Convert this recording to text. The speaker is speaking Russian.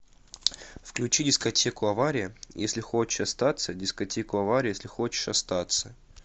включи дискотеку авария если хочешь остаться дискотеку аварию если хочешь остаться